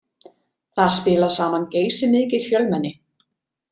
Þar spila saman geysimikið fjölmenni.